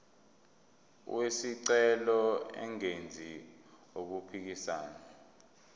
wesicelo engenzi okuphikisana